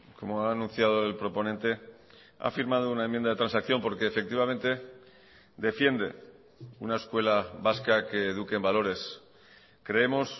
como ha anunciado el proponente ha firmado una enmienda de transacción porque efectivamente defiende una escuela vasca que eduquen valores creemos